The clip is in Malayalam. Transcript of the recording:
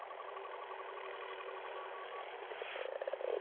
ര്രർ